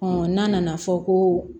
n'a nana fɔ ko